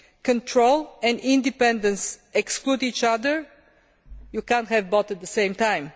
Control and independence exclude each other you cannot have both at the same time.